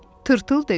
Tırtıl dedi.